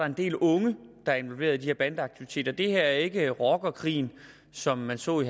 en del unge der er involveret i de her bandeaktiviteter det her er ikke rockerkrig som man så i